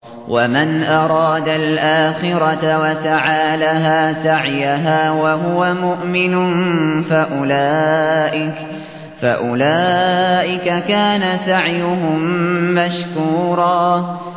وَمَنْ أَرَادَ الْآخِرَةَ وَسَعَىٰ لَهَا سَعْيَهَا وَهُوَ مُؤْمِنٌ فَأُولَٰئِكَ كَانَ سَعْيُهُم مَّشْكُورًا